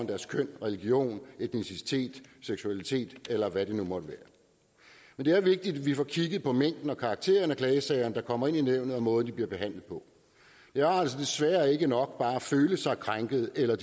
deres køn religion etnicitet seksualitet eller hvad det nu måtte være men det er vigtigt at vi får kigget på mængden og karakteren af de klagesager der kommer ind i nævnet og måden de bliver behandlet på det er altså desværre ikke nok bare at føle sig krænket eller